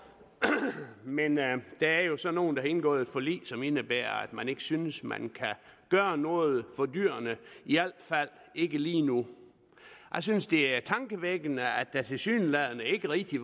men der er jo så nogle der har indgået et forlig som indebærer at man ikke synes man kan gøre noget for dyrene i al fald ikke lige nu jeg synes det er tankevækkende at der tilsyneladende ikke rigtig